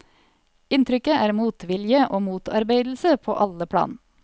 Inntrykket er motvilje og motarbeidelse på alle plan.